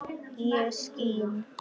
ég skín